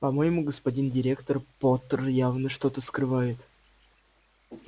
по-моему господин директор поттер явно что-то скрывает